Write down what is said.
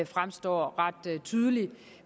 fremgår ret tydeligt